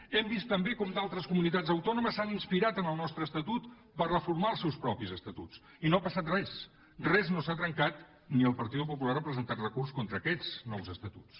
hem vist també com d’altres comunitats autònomes s’han inspirat en el nostre estatut per reformar els seus mateixos estatuts i no ha passat res res no s’ha trencat ni el partido popular ha presentat recurs contra aquests nous estatuts